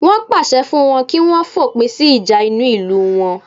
Wọn pàṣẹ fún wọn kí wọ́n fòpin sí ìjà inú ìlú wọn